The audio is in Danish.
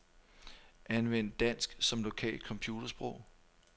Anvend dansk som lokalt computersprog.